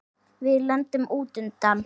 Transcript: Við lendum út undan.